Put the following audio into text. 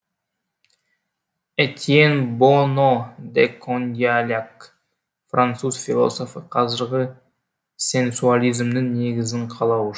этьенн бонно де кондиьляк француз философы қазіргі сенсуализмнің негізін қалау